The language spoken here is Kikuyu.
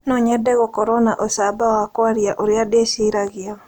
No nyende gũkorũo na ũcamba wa kwaria ũrĩa ndĩciragia.